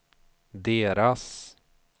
deras